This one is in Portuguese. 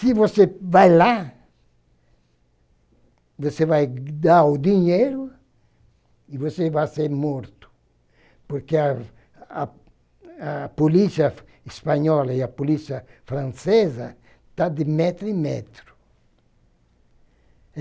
Se você vai lá, você vai dar o dinheiro e você vai ser morto, porque a a a polícia espanhola e a polícia francesa estão de metro em metro.